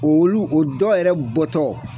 Olu o dɔ yɛrɛ bɔtɔ